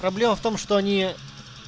проблема в том что они